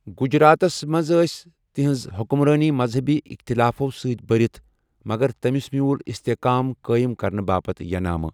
گجراتس منٛز ٲس تہنٛز حکمرٲنی مذہبی اِختِلافو سۭتۍ برِتھ مگر تٔمِس مِیوٗل استحکام قٲیِم كرنہٕ باپت ینامہٕ ۔